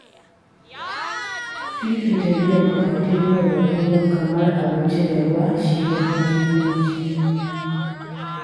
Fifita biyan bukatun yau da kullum kamar abinci da ruwa shi yafi muhimmanci.